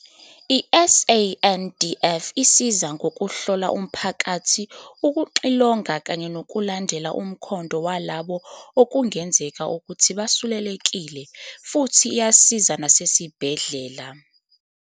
I-SANDF isiza ngokuhlola umphakathi, ukuxilonga kanye nokulandela umkhondo walabo okungenzeka ukuthi basulelekile, futhi iyasiza nasezibhedlela.